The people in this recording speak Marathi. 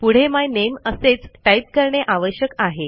पुढे माय नामे असेच टाईप करणे आवश्यक आहे